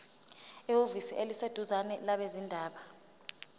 ehhovisi eliseduzane labezindaba